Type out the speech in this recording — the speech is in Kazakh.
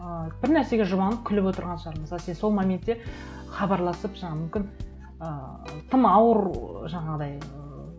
ыыы бір нәрсеге жұбанып күліп отырған шығар мысалы сен сол моментте хабарласып жаңағы мүмкін ыыы тым ауыр ы жаңағыдай ыыы